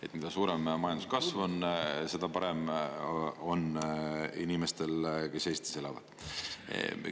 Et mida suurem ja majanduskasv on, seda parem on inimestel, kes Eestis elavad.